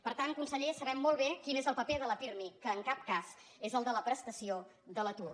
per tant conseller sabem molt bé quin és el paper del pirmi que en cap cas és el de la prestació de l’atur